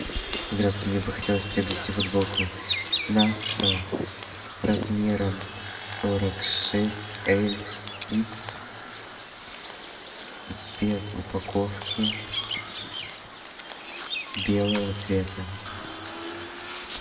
здравствуйте мне бы хотелось приобрести футболку наса размером сорок шесть эль икс без упаковки белого цвета